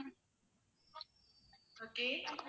okay